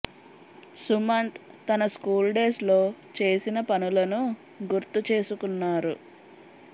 సుమంత్ తన school days లో చేసిన పనులను గుర్తు చేసకున్నారు